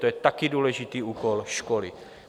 To je také důležitý úkol školy.